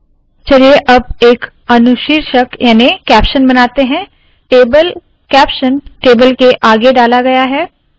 चलिए अब एक अनुशीर्षक याने के कैप्शन बनाते है टेबल कैप्शन टेबल के आगे डाला गया है